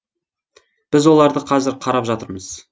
біз оларды қазір қарап жатырмыз